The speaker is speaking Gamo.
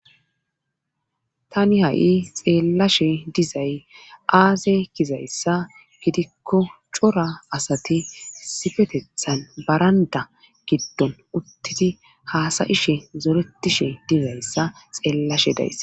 Tani ha7i xeellashe dizay aaze kizayssa gidikko cora asati sifetethan baranda giddon uttidi haasayishe zoretishe dizayssa xeellashe dayssa